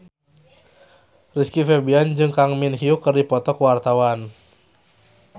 Rizky Febian jeung Kang Min Hyuk keur dipoto ku wartawan